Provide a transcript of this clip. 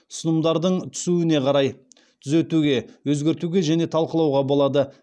ұсынымдардың түсуіне қарай түзетуге өзгертуге және талқылауға болады